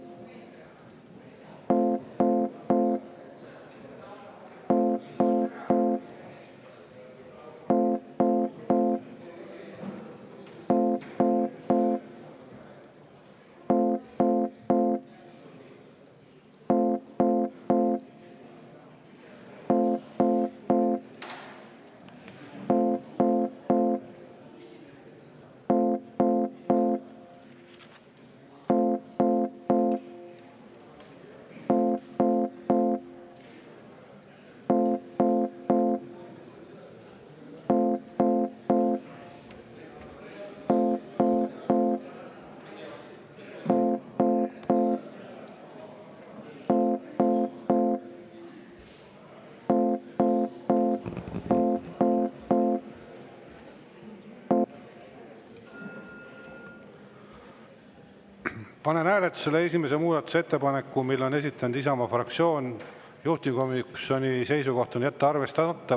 Panen hääletusele esimese muudatusettepaneku, mille on esitanud Isamaa fraktsioon, juhtivkomisjoni seisukoht on jätta arvestamata.